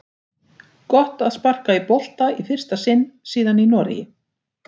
Gott að sparka í bolta í fyrsta sinn síðan í Noregi!